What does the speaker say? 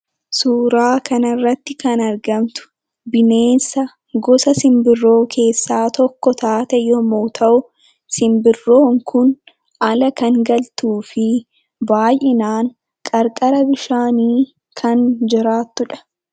Suuraa kanarratti kan argamtu, bineensa gosa simbirroo keessaa tokko taatee yemmuu ta'u, simbirroon kun ala kan galtuufii baay'inaan qarqara bishaanii kan jiraattudha.